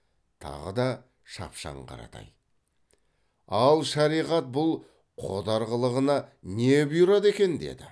тағы да шапшаң қаратай ал шариғат бұл қодар қылығына не бұйырады екен деді